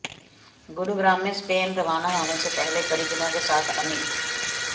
गुरुग्राम में स्पेन रवाना होने से पहले परिजनों के साथ अमित